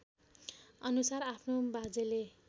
अनुसार आफ्नो बाजेले